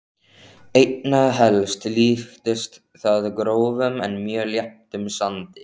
Einna helst líktist það grófum en mjög léttum sandi.